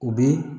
O bɛ